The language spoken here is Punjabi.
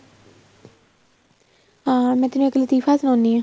ਅਹ ਮੈਂ ਤੈਨੂੰ ਇੱਕ ਲਤੀਫ਼ਾ ਸੁਣਾਨੀ ਆ